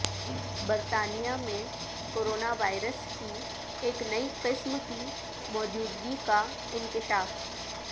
برطانیہ میں corona virus کی ایک نئی قسم کی موجودگی کا انکشاف